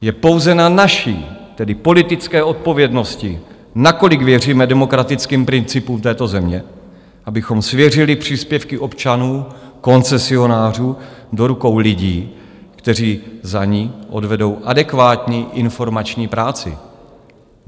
Je pouze na naší, tedy politické odpovědnosti, nakolik věříme demokratickým principům této země, abychom svěřili příspěvky občanů, koncesionářů, do rukou lidí, kteří za ni odvedou adekvátní informační práci.